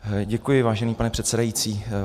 Děkuji, vážený pane předsedající.